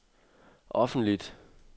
offentligt